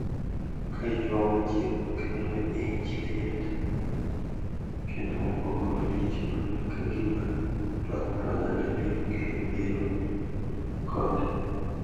Ka ichuogo chik makelo ich liet kendo buogo malich mana ka gima twak mar oganda biro kelo midhiero kod